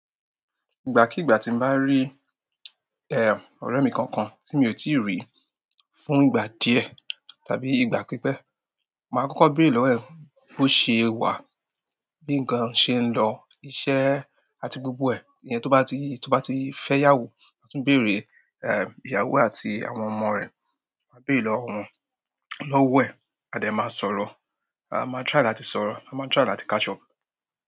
Ìgbà kí ìgbà tí n bá rí eh, ọ̀rẹ́ mi kankan tí mi ò tíì rí fún ìgbà díẹ̀ tàbí ìgbà pípẹ́, mà á kọ́kọ́ bèrè lọ́wọ́ ẹ̀ bó ṣe wà, bí ǹ kan ṣe ń lọ, iṣẹ́ àti gbogbo ẹ̀. Ẹni tó bá ti fẹ́ yàwú, mà á tún bèrè ìyàwó àti àwọn ọmọ rẹ̀. Mà á bèrè lọ́wọ́ ẹ̀, a dè máa sọ̀rọ̀, a máa try láti sọ̀rọ̀, a máa try láti catch up.